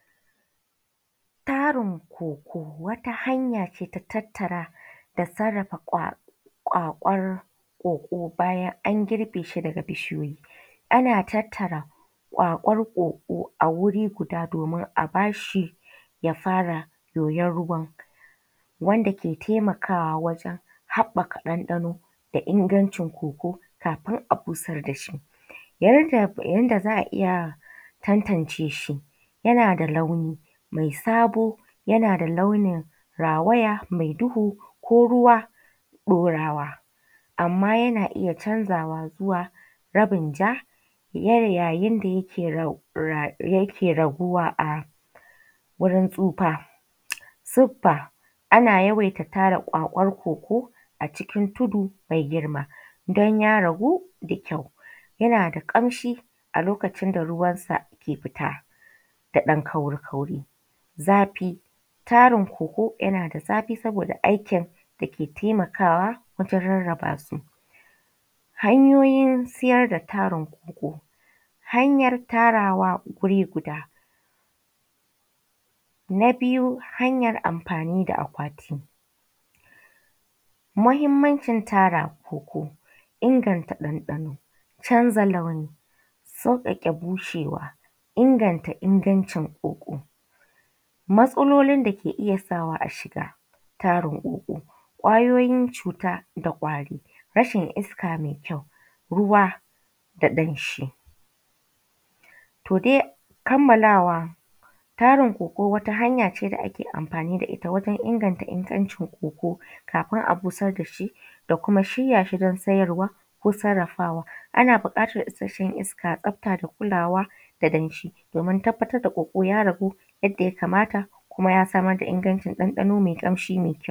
Tarin koko wata hanyace na tattara da kwakwar koko baya anger beshi daga bishiya. Ana tattara kwakkwar koko a guri guda domin a barshi ya fara yoyar ruwan wanda ke taimakawa wangen haɓɓa ka ɗan ɗano da in ingancin koko kafin a busar dashi. Yanda za’a iyya tantance shi yanada launi mai sabo yanada launi mai rawaya mai duhu ko ruwan ɗaurawa. Amma yana iyya canzawa zuwa zuin ja yayin da yake raguwa wurin tsufa. Siffa ana yawaita tara kwakwar koko a cikin tudu mai girma don ya ragu da kyau. Yana da kamshi a lokacin da ruwansa ke fita da ɗan ƙauri ƙauri. Zafi tarin koko yanada zafi saboda aikin dake taimakawa wajen rarraba su. Hanyoyin siyar da tarin koko hanyar Tarawa wuri guda. Na biyu hanyar amfani da akwati. Mahimmanci tara koko inganta ɗanɗa. Canza launi, tsotsake bushewa, inganta ingancin koko. Matsalolin dake iyya sawa a shiga tarin koko, kwayoyin cuta da kwari, rashin iska mai kyau, ruwa da ɗanshi. To dai kammalawa tarin koko wata hanyace da ake amfani da itta wajen inganta ingancin koko kafin a busar dashi da kuma shirya shi dan sayarwa da sarrafawa ana buƙatab isashshen iska, tsafta da kulawa da danshi domin tabbatar da koko ya rabu yadda ya kamata kuma ya samar da ingancin ɗan ɗano mai kyau.